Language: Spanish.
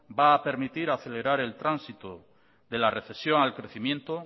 va a permitir acelerar el tránsito de la recesión al crecimiento